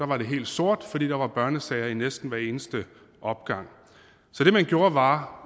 var det helt sort fordi der var børnesager i næsten hver eneste opgang så det man gjorde var